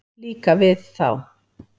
Líka við þá.